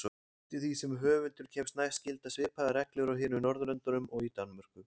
Eftir því sem höfundur kemst næst gilda svipaðar reglur á hinum Norðurlöndunum og í Danmörku.